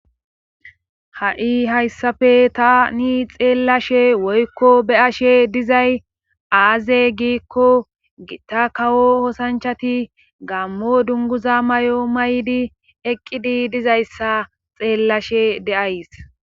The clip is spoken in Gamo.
Ha'i hayssappe tani xeellashe woykko beyashe dizay aaze giikko gitta kawo osanchati gammo dunguza may'o maydi eqqidi dizayssa xeellashe de'as.